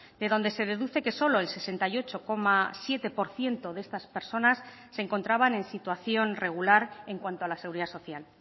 de donde se deduce que solo el sesenta y ocho coma siete por ciento de estas personas se encontraban en situación regular en cuanto a la seguridad social